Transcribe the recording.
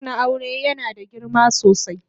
kak na auren yana da girma sosai.